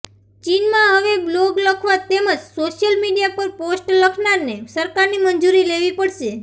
ચીનમાં હવે બ્લોગ લખવા તેમજ સોશિયલ મીડિયા પર પોસ્ટ લખનારને સરકારની મંજૂરી લેવી પડશે